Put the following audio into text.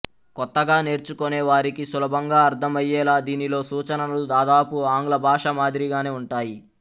కొత్తగా నేర్చుకొనే వారికి సులభంగా అర్ధమయ్యేలా దీనిలో సూచనలు దాదాపు ఆంగ్ల భాష మాదిరిగానే ఉంటాయి